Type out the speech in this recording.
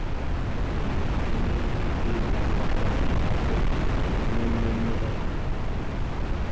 ndị ndị na-eme ihe nkiri 'Black Panther' mere n'Afrịka n'ememme mmeghe ha.